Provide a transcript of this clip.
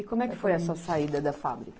E como é que foi a sua saída da fábrica?